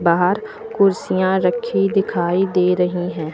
बाहर कुर्सियां रखी हुई दिखाई दे रही है।